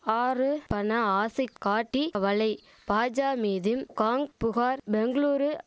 ஆறு பண ஆசைக் காட்டி வலை பாஜா மீதும் காங் புகார் பெங்ளூரு